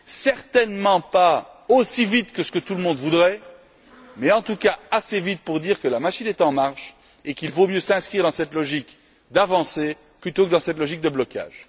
certainement pas aussi vite que ce que tout le monde le voudrait, mais en tout cas assez vite pour dire que la machine est en marche et qu'il vaut mieux s'inscrire dans cette logique d'avancée plutôt que dans une logique de blocage.